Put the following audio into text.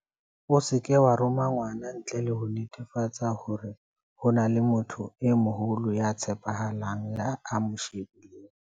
O seke wa roma ngwana ntle le ho netefatsa hore ho na le motho e moholo ya tshepahalang ya mo shebileng.